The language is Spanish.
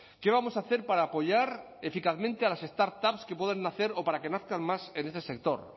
qué vamos a hacer para apoyar eficazmente a las startups pueden nacer o para que nazcan más en este sector